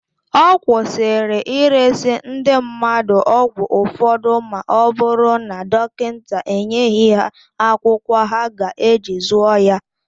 Akwụsịrị ịresị ndị mmadụ ọgwụ ụfọdụ ma ọ bụrụ na dọnkịnta enyeghị ha akwụkwọ ha ga-eji zụọ ya.